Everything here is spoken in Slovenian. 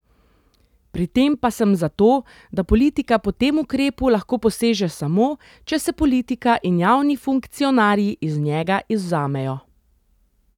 Pri tem pa sem za to, da politika po tem ukrepu lahko poseže samo, če se politika in javni funkcionarji iz njega izvzamejo.